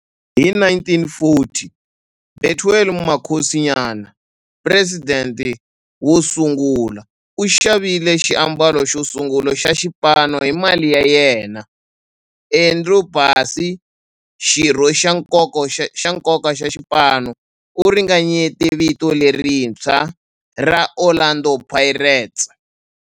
Hi 1940, Bethuel Mokgosinyane, president wosungula, u xavile xiambalo xosungula xa xipano hi mali ya yena. Andrew Bassie, xirho xa nkoka xa xipano, u ringanyete vito lerintshwa ra 'Orlando Pirates'.